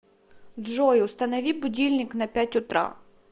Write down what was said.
джой установи будильник на пять утра